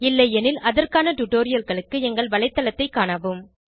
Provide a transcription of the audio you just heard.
இல்லையெனில் அதற்கான டுடோரியல்களுக்கு எங்கள் வலைத்தளத்தைக் காணவும்